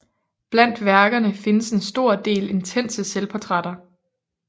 Blandt værkerne findes en stor del intense selvportrætter